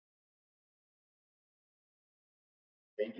Ísland í tölum- Landmælingar Íslands.